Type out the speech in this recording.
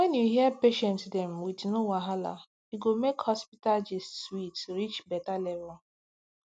when you hear patient dem wit no wahala e go make hospital gist sweet reach better level